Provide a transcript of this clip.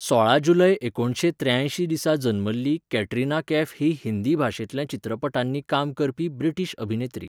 सोळा जुलय एकुणशे त्रेयांयशी दिसा जल्मल्ली कॅटरीना कैफ ही हिंदी भाशेंतल्या चित्रपटांनी काम करपी ब्रिटीश अभिनेत्री.